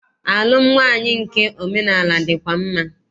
Alụm nwaanyị nke omenaala dịkwa mma.